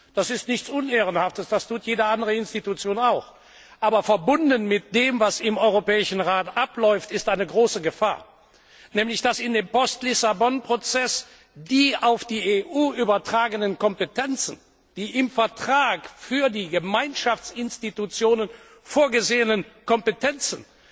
Das ist nichts Unehrenhaftes, das tut jede andere Institution auch, aber verbunden mit dem, was im Europäischen Rat abläuft, besteht eine große Gefahr nämlich dass in dem Post Lissabon Prozess die auf die EU übertragenen Kompetenzen, die im Vertrag für die Gemeinschaftsinstitutionen vorgesehenen Kompetenzen,